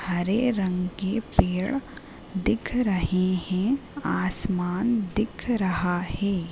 हरे रंग के पेड़ दिख रहे हैं। आसमान देख रहा है।